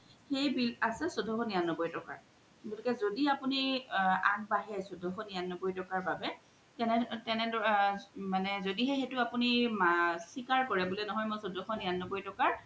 সেই bill আছে চৈধ্যশ নিৰান্নবৈ তোকাৰ জোদি আপুনি আগবাঢ়ে চৈধ্যশ নিৰান্নবৈ তকাৰ বাবে জদি হে আপুনি চিকাৰ কৰে ন্হয় বুলে মই চৈধ্যশ নিৰান্নবৈ তোকাৰ